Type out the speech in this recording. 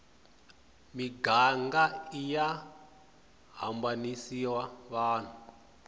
miganga ayi hambanisa vanhu